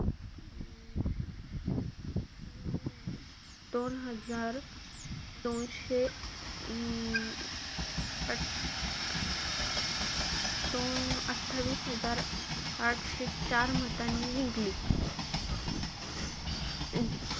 दोन हजार दोनशे अं दो~ अठ्ठावीस हजार आठशे चार मतांनी जिंकली. अ,